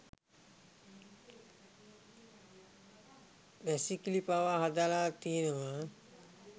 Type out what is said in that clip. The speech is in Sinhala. වැසිකිළි පවා හදලා තියෙනවා